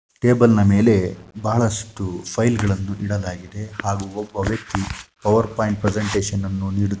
table ನ ಮೇಲೆ ಬಹಳಷ್ಟು ಫೈಲ್‌ ಗಳನ್ನು ಇಡಲಾಗಿದೆ ಹಾಗೂ ಒಬ್ಬ ವ್ಯಕ್ತಿ ಪವರ್‌ ಪಾಯಿಂಟ್‌ ಪ್ರೆಸನ್ಟೇಷನ್‌ನ್ನು ನೀಡುತ್ತಿ --